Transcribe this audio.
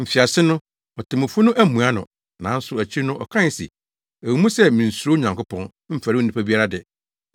“Mfiase no, otemmufo no ammua no. Nanso akyiri no ɔkae se, ‘Ɛwɔ mu sɛ minsuro Onyankopɔn, mfɛre onipa biara de,